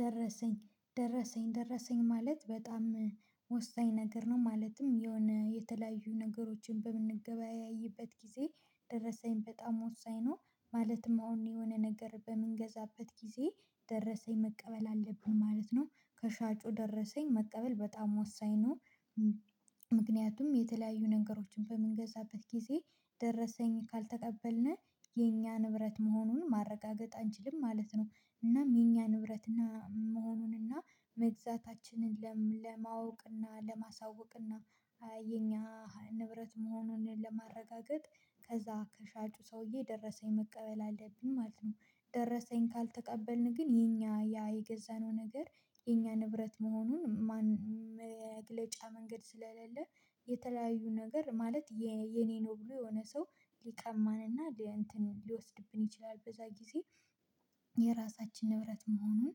ደረሰኝ ደረሰኝ ደረሰኝ ማለት በጣም ወሳኝ ነገር ነው ማለትም የሆነ የተለያዩ ነገሮችን በምንገበያይበት ጊዜ ደረሰኝ በጣም ወሳኝ ነው። ማለትም አሁን የሆነ ነገር በምንገዛበት ጊዜ ደረሰኝ መቀበል አለብኝ ማለት ነው። ከሻጩ ደረሰኝ መቀበል በጣም ወሳኝ ነው። ምክንያቱም የተለያዩ ነገሮችን በምንገዛበት ጊዜ ደረሰኝ ካልተቀበልን የኛ ንብረት መሆኑን ማረጋገጥ አንችልም ማለት ነው። እናም የኛ ንብረት እና መሆኑንና መግዛታችንን ለማወቅና ለማሳወቅና የኛ ንብረት መሆኑን ለማረጋገጥ ከዛ ከሻጩ ሰውዬ ደረሰኝ መቀበል አለብኝ ማለት ነው። ደረሰኝ ካልተቀበልን ግን የኛ ያ የገዛነው ነገር የኛ ንብረት መሆኑን መግለጫ መንገድ ስለሌለ የተለያዩ ነገር ማለት የኔ ነው ብሎ የሆነ ሰው ሊቀማንና ሊወስድብን ይችላል። በዛ ጊዜ የራሳችን ንብረት መሆኑን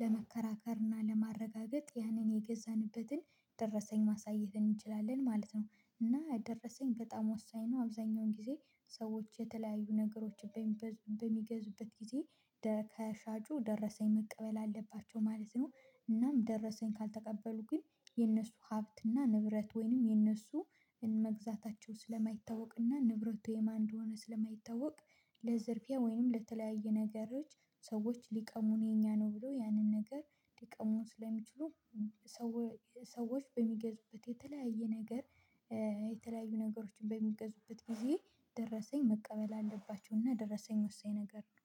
ለመከራከር እና ለማረጋገጥ ያንን የገዛንበትን ደረሰኝ ማሳየት እንችላለን ማለት ነው። እና ደረሰኝ በጣም ወሳኝ ነው አብዛኛውን ጊዜ ሰዎች የተለያዩ ነገሮች በሚገዙበት ጊዜ ከሻጩ ደረሰኝ መቀበል አለባቸው ማለት ነው። እናም ደረሰኝ ካልተቀበሉ ግን የነሱ ሀብትና ንብረት ወይንም የነሱ መግዛታቸው ስለማይታወቅና ንብረት ወይም አንድ ሆነ ስለማይታወቅ ለዝርፊያ ወይም ለተለያየ ነገሮች ሰዎች ሊቀሙን የኛ ነው ብሎ ያንን ነገር ሊቀሙን ስለሚችሉ። ሰዎች በሚገዙበት የተለያየ ነገር የተለያዩ ነገሮችን በሚገዙበት ጊዜ ደረሰኝ መቀበል አለባቸው እና ደረሰኝ ወሳኝ ነገር ነው